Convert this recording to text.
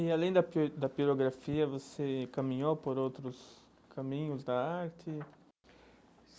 E além da pi da pirografia, você caminhou por outros caminhos da arte?